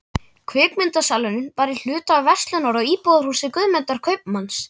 Kvikmyndasalurinn var í hluta af verslunar- og íbúðarhúsi Guðmundar kaupmanns.